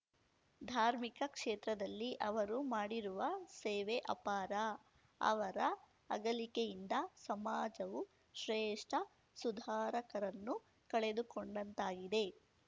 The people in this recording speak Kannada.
ಧಾರ್ಮಿಕ ಕ್ಷೇತ್ರದಲ್ಲಿ ಅವರು ಮಾಡಿರುವ ಸೇವೆ ಅಪಾರ ಅವರ ಅಗಲಿಕೆಯಿಂದ ಸಮಾಜವು ಶ್ರೇಷ್ಠ ಸುಧಾರಕರನ್ನು ಕಳೆದುಕೊಂಡಂತಾಗಿದೆ